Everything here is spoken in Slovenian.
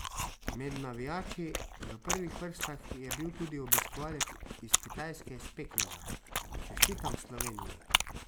Med navijači v prvih vrstah je bil tudi obiskovalec iz Kitajske iz Pekinga: "Čestitam Sloveniji!